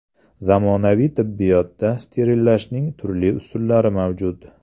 Zamonaviy tibbiyotda sterillashning turli usullari mavjud.